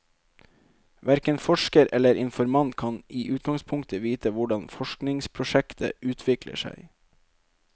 Verken forsker eller informant kan i utgangspunktet vite hvordan forskningsprosjektet utvikler seg.